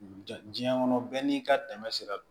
Ja diɲɛ kɔnɔ bɛɛ n'i ka dɛmɛ sera